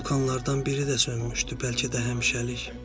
Vulkanlardan biri də sönmüşdü, bəlkə də həmişəlik.